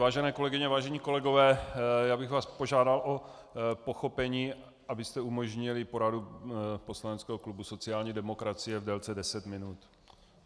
Vážené kolegyně, vážení kolegové, já bych vás požádal o pochopení, abyste umožnili poradu poslaneckého klubu sociální demokracie v délce deset minut.